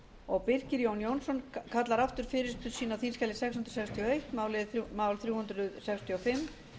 og birkir jón jónsson kallar aftur fyrirspurn sína á þingskjali sex hundruð sextíu og eitt mál þrjú hundruð sextíu og fimm